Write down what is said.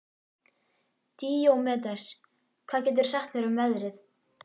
Díómedes, hvað geturðu sagt mér um veðrið?